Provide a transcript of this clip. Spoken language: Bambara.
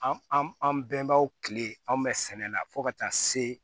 An an an bɛnbaaw kile anw bɛ sɛnɛ la fo ka taa se